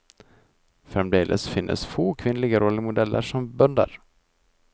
Fremdeles finnes få kvinnelige rollemodeller som bønder.